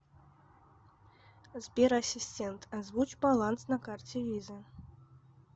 сбер ассистент озвучь баланс на карте виза